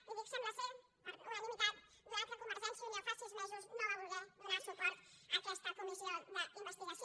i dic sembla per unanimitat atès que convergència i unió fa sis mesos no va voler donar suport a aquesta comissió d’investigació